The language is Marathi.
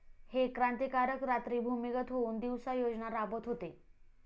हे क्रांतिकारक रात्री भूमिगत होऊन दिवसा योजना राबवत होते